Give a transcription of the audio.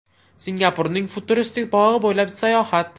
Singapurning futuristik bog‘i bo‘ylab sayohat.